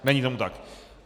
Není tomu tak.